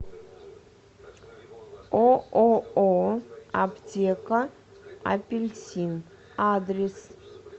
ооо аптека апельсин адрес